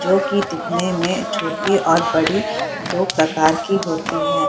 जो की दिखने में छोटे और बड़ी दो प्रकार की होती है।